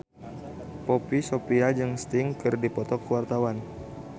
Poppy Sovia jeung Sting keur dipoto ku wartawan